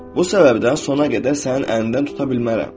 Bu səbəbdən sona qədər sənin əlindən tuta bilmərəm.